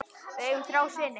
Við eigum þrjá syni.